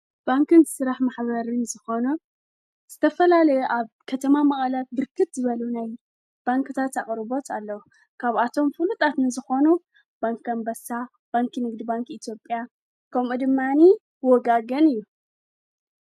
ባንክን ዝሥራሕ ማኅበርን ዝኾኖ ዝተፈላለየ ኣብ ከተማ መቕለ ብርክት ዝበሉ ናይ ባንከታት ኣቕርቦት ኣለዉ። ካብኣቶም ፍሉጣት ዝኾኑ ባንከን ኣንበሳ ፡ባንኪ ንግዲ, ባንኪ ኢቲዮጴያ ከምኡ ድማኒ ወጋገን እዩ።